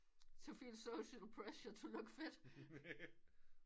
To feel social pressure to look fit